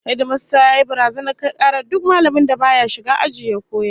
Hedimasta yayi barazanar kai karar duk mallamin da baya shiga aji ya koyar